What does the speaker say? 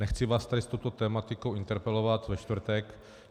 Nechci vás tady s touto tematikou interpelovat ve čtvrtek.